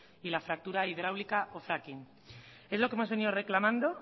y la fractura hidráulica o fracking es lo que hemos venido reclamando